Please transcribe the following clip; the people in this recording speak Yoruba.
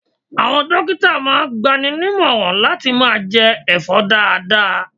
Àwọn dókítà máa ń gbaninímọ̀ran láti máa jẹ ẹ̀fọ́ dáadáa.